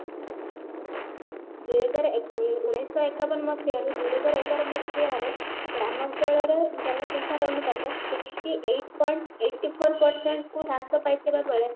ଦୁଇ ହଜାର ଉଁ ଉଣେଇଶି ଶହ ଏକାବନ ମସିହାରୁ ଦୁଇ ହଜାର ଏଗାର ମସିହାରେ ଗ୍ରାମାଞ୍ଚଳରେ ଜନସଂଖ୍ୟାର ଅନୁପାତ sixty eight point eighty four percent କୁ ହ୍ରାସ ପାଇଥିବା ବେଳେ